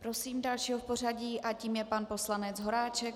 Prosím dalšího v pořadí a tím je pan poslanec Horáček.